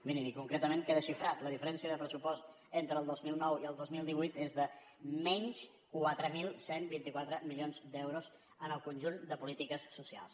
i mirin i concretament queda xifrada la diferència de pressupost entre el dos mil nou i el dos mil divuit és de menys quatre mil cent i vint quatre milions d’euros en el conjunt de polítiques socials